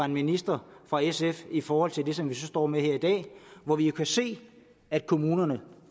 minister fra sf i forhold til det som vi så står med her i dag hvor vi jo kan se at kommunerne